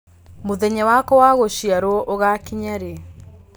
mũthenya wakwa wa gũciarwo ũgakinya rĩ